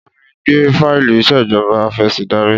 Bá mi gbé fáìlì ìṣèjọba afẹ̀sìndarí.